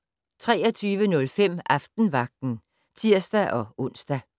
23:05: Aftenvagten (tir-ons)